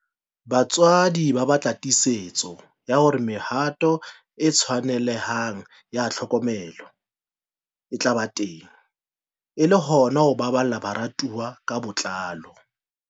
Batswadi ba batla tiisetso ya hore mehato e tshwanelehang ya tlhokomelo e tla ba teng e le hona ho baballa barutwana ka botlalo.